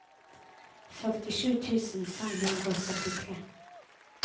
førtisju tusen fem hundre og syttitre